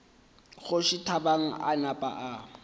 kgoši thabang a napa a